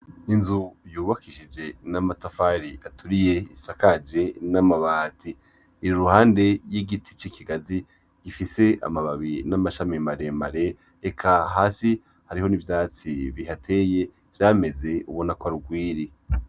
Inzu yubakishije n'amatafari aturiye isakaje n'amabati iri iruhande y'igiti c'ikigazi gifise amababi n'amashami maremare eka hasi hariho n'ivyatsi bihateye vyameze ubona ko ari urwiri.